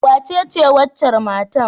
Wace waccar matan?